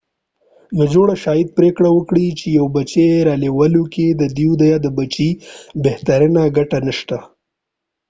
یوه جوړه شاید پرېکړه وکړي چې یو بچی رالویولو کې د دوی یا د بچي بهترینه ګټه نشته